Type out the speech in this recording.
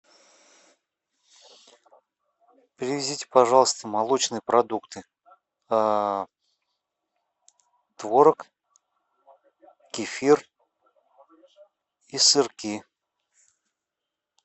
привезите пожалуйста молочные продукты творог кефир и сырки